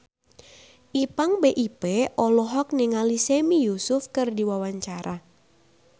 Ipank BIP olohok ningali Sami Yusuf keur diwawancara